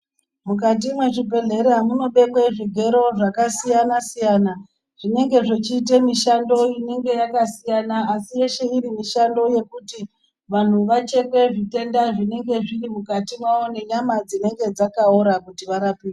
Mukati mwezvibhedhlera munobekwe zvigero zvakasiyana siya zvinenge zvechiite mishando inenge yakasiyana asi yeshe iri mishando yekuti vantu vacheke zvitenda zvinenge zviri mukati mawo ngenyama dzinenge dzakaora kuti varapwe.